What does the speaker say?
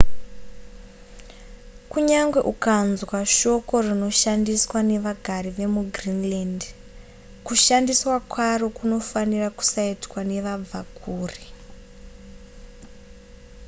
kunyange unganzwa shoko rinoshandiswa nevagari vemugreenland kushandiswa kwaro kunofanira kusaitwa nevabvakure